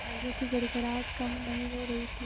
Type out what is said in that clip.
तालियों की गड़गड़ाहट कम नहीं हो रही थी